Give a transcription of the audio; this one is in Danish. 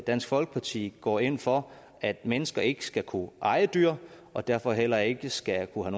dansk folkeparti går ind for at mennesker ikke skal kunne eje dyr og derfor heller ikke skal kunne